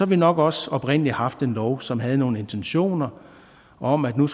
vi nok også oprindelig haft en lov som havde nogle intentioner om at nu